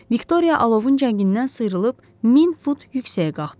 Viktoriya alovun cəngindən sıyrılıb 1000 fut yüksəyə qalxdı.